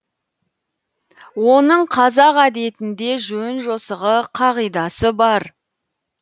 оның қазақ әдетінде жөн жосығы қағидасы бар